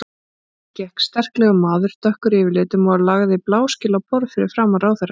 Inn gekk sterklegur maður, dökkur yfirlitum og lagði bláskel á borð fyrir framan ráðherrann.